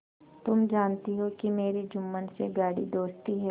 तुम जानती हो कि मेरी जुम्मन से गाढ़ी दोस्ती है